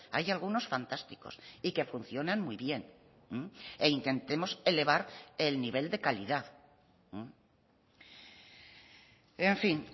hay algunos fantásticos y que funcionan muy bien e intentemos elevar el nivel de calidad en fin